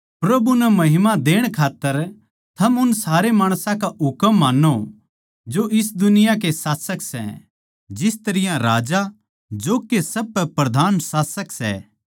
प्रभु नै महिमा देण खात्तर थम उन सारे माणसां का हुकम मान्नो जो इस दुनिया के शासक सै जिस तरियां राजा जो के सब पै प्रधान शासक सै